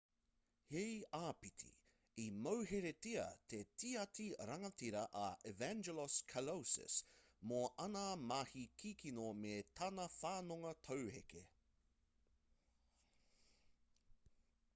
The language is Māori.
hei āpiti i mauheretia te tiati rangatira a evangelos kalousis mō āna mahi kikino me tana whanonga tauheke